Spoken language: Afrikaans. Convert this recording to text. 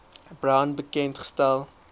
brown bekend gestel